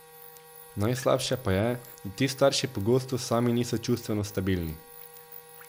Najslabše pa je, da ti starši pogosto sami niso čustveno stabilni.